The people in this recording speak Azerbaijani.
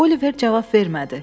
Oliver cavab vermədi.